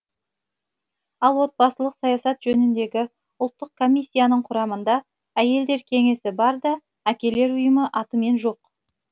ал отбасылық саясат жөніндегі ұлттық комиссияның құрамында әйелдер кеңесі бар да әкелер ұйымы атымен жоқ